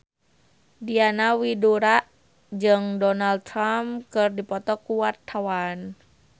Diana Widoera jeung Donald Trump keur dipoto ku wartawan